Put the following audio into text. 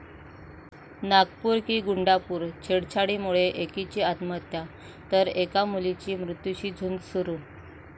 नागपूर की 'गुंडापूर'!, छेडछाडीमुळे एकीची आत्महत्या, तर एका मुलीची मृत्यूशी झुंज सुरू